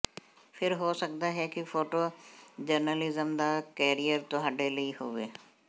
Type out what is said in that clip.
ਫਿਰ ਹੋ ਸਕਦਾ ਹੈ ਕਿ ਫੋਟੋ ਜਰਨਲਿਜ਼ਮ ਦਾ ਕੈਰੀਅਰ ਤੁਹਾਡੇ ਲਈ ਹੋਵੇ